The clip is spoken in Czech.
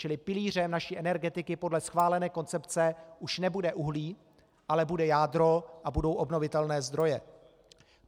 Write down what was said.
Čili pilířem naší energetiky podle schválené koncepce už nebude uhlí, ale bude jádro a budou obnovitelné zdroje.